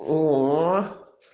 о